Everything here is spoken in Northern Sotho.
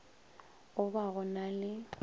go ba go na le